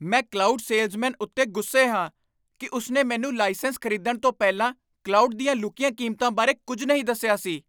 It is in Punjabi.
ਮੈਂ ਕਲਾਉਡ ਸੇਲਜ਼ਮੈਨ ਉੱਤੇ ਗੁੱਸੇ ਹਾਂ ਕਿ ਉਸਨੇ ਮੈਨੂੰ ਲਾਇਸੈਂਸ ਖ਼ਰੀਦਣ ਤੋਂ ਪਹਿਲਾਂ ਕਲਾਉਡ ਦੀਆਂ ਲੁਕੀਆਂ ਕੀਮਤਾਂ ਬਾਰੇ ਕੁੱਝ ਨਹੀਂ ਦੱਸਿਆ ਸੀ।